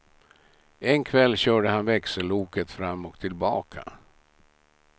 En kväll körde han växelloket fram och tillbaka.